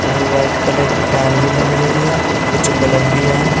और white colour की tile भी लग रही है कुछ बल्ब भी है।